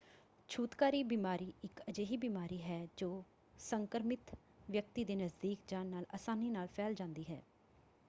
ਛੂਤਕਾਰੀ ਬਿਮਾਰੀ ਇੱਕ ਅਜਿਹੀ ਬਿਮਾਰੀ ਹੈ ਜੋ ਸੰਕਰਮਿਤ ਵਿਅਕਤੀ ਦੇ ਨਜ਼ਦੀਕ ਜਾਣ ਨਾਲ ਅਸਾਨੀ ਨਾਲ ਫੈਲ ਜਾਂਦੀ ਹੈ।